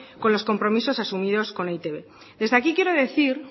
con los compromisos asumidos con e i te be desde aquí quiero decir